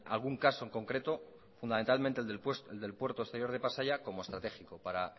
algún caso concreto fundamentalmente el del puerto exterior de pasaia como estratégico para